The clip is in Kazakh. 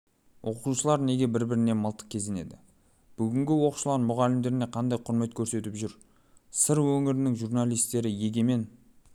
оқушылар неге бір-біріне мылтық кезенеді бүгінгі оқушылар мұғалімдеріне қандай құрмет көрсетіп жүр сыр өңірінің журналистері егемен